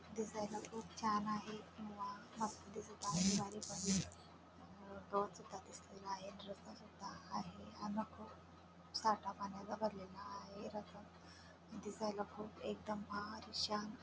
दिसायला खूप छान आहे किंवा मस्त दिसत आहे बारीक बारीक अ गवत सुद्धा दिसलेल आहे रस्ता सुद्धा आहे साठा पाण्याचा भरलेला आहे दिसायला खूप एकदम भारी शान --